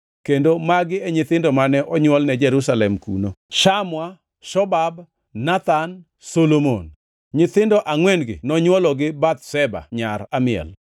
kendo magi e nyithindo mane onywolne Jerusalem kuno: Shamua, Shobab, Nathan, Solomon. Nyithindo angʼwen-gi nonywolo gi Bathsheba nyar Amiel.